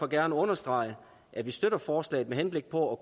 gerne understrege at vi støtter forslaget med henblik på